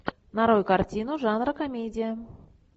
нарой картину жанра комедия